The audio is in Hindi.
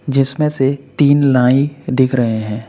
जिसमें से तीन नाई दिख रहे हैं।